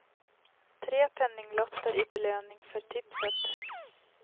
Tre penninglotter i belöning för tipset.